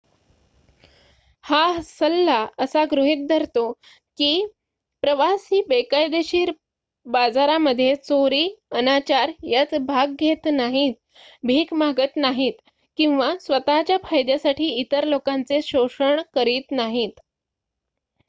हा सल्ला असा गृहित धरतो की प्रवासी बेकायदेशीर बाजारामध्ये चोरी अनाचार यात भाग घेत नाहीत भीक मागत नाहीत किंवा स्वतःच्या फायद्यासाठी इतर लोकांचे शोषण करत नाहीत